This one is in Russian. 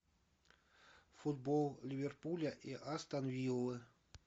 футбол ливерпуля и астон виллы